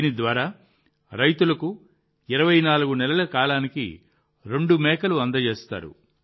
దీని ద్వారా రైతులకు 24 నెలల కాలానికి రెండు మేకలను అందజేస్తారు